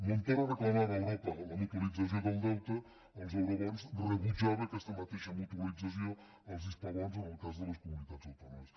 montoro reclamava a europa la mutualització del deute els eurobons rebutjava aquesta mateixa mutualització els hispabons en el cas de les comunitats autònomes